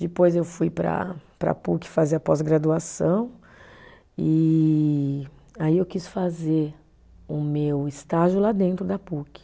Depois eu fui para, para a Puc fazer a pós-graduação e aí eu quis fazer o meu estágio lá dentro da Puc.